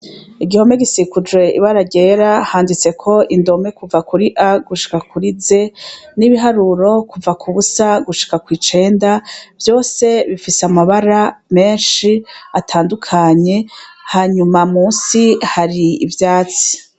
Igihome gisikujw' ibara ryera handitsek' indome kuva kuri A gushika kuri Z , n' ibiharuro kuva ku 0 gushika kw 9 , vyose bifis' amabara mensh' atandukanye, hanyuma munsi hasi har' ivyatsi.